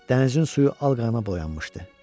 Dənizin suyu al qana boyanmışdı.